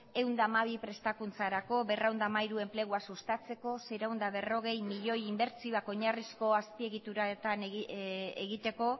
ehun eta hamabi prestakuntzarako berrehun eta hamairu enplegua sustatzeko seiehun eta berrogei milioi inbertsioak oinarrizko azpiegituretan egiteko